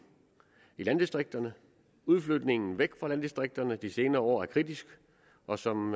i landdistrikterne udflytningen væk fra landdistrikterne de senere år er kritisk og som